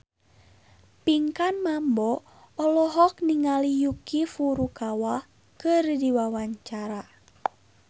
Pinkan Mambo olohok ningali Yuki Furukawa keur diwawancara